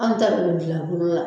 Anw ta bɛ bɛ dilan bolo la.